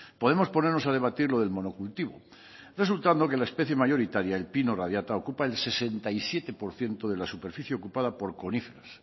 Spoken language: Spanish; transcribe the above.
podemos ponernos a debatir lo del monocultivo resultando que la especie mayoritaria el pino radiata ocupa el sesenta y siete por ciento de la superficie ocupada por coníferas